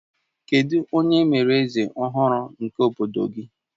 Kedụ onye e mere eze ọhụrụ nke obodo gị?